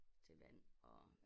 Til vand og